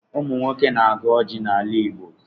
Ụmụ nwoke na-agọ ọjị n'ala Igbo.